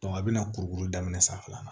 a bɛna kurukuru daminɛ sanfɛla la